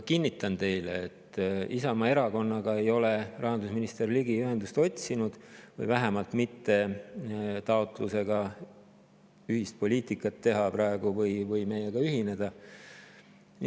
Kinnitan teile, et rahandusminister Ligi ei ole Isamaa Erakonnaga ühendust otsinud, vähemalt mitte taotlusega ühist poliitikat teha või meiega ühineda.